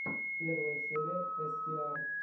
первая серия эстиар